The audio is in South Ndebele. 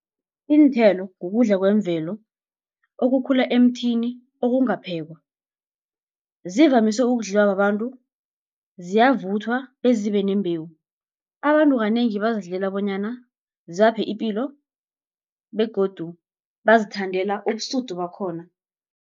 Iinthelo kukudla kwemvelo okukhula emthini okungaphekwa, zivamise ukudliwa babantu ziyavuthwa bezibe nembewu. Abantu kanengi bazidlela bonyana zibaphe ipilo, begodu bazithandela ubusudu bakhona.